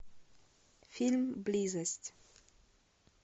фильм близость